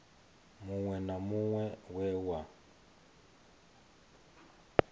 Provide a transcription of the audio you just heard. muṅwe na muṅwe we wa